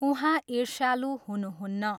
उहाँ ईष्र्यालु हुनुहुन्न।